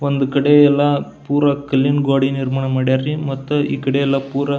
ಒಂದು ಕಡೆ ಎಲ್ಲ ಪುರ ಕಲ್ಲಿನ ಗೋಡೆ ನಿರ್ಮಾಣ ಮಡ್ಯಾರ್ ರೀ ಮತ್ತ ಈಕಡೆ ಎಲ್ಲ ಪೂರಾ --